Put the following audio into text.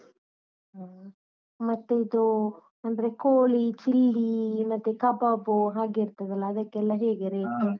ಹ್ಮ್‌, ಮತ್ತೆ ಇದು ಅಂದ್ರೆ ಕೋಳಿ ಚಿಲ್ಲಿ ಮತ್ತೆ ಕಬಾಬ್ ಹಾಗೆ ಇರ್ತದಲ್ಲ ಅದಕ್ಕೆಲ್ಲ ಹೇಗೆ rate.